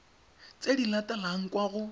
tse di latelang kwa go